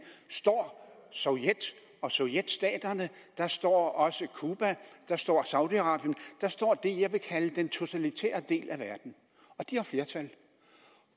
står sovjet og sovjetstaterne der står også cuba der står saudi arabien der står det jeg vil kalde den totalitære del af verden de har flertal